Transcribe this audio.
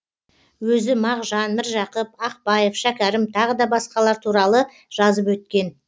өзі мағжан міржақып ақпаев шәкәрім тағы да басқалар туралы жазып өткен